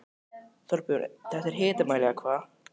Þorbjörn, þetta er hitamál eða hvað?